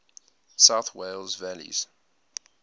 south wales valleys